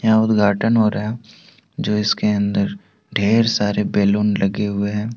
यहां उद्घाटन हो रहा है जो इसके अन्दर ढेर सारे बैलून लगे हुए हैं ।